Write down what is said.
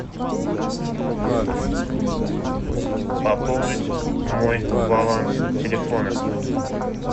пополнить мой баланс телефона